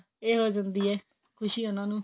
ਇਹ ਹੋ ਜਾਂਦੀ ਹੈ ਖ਼ੁਸ਼ੀ ਉਹਨਾਂ ਨੂੰ